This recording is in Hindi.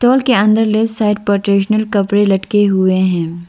मॉल के अंदर लेफ्ट साइड ट्रेडिशनल कपड़े लटके हुए हैं।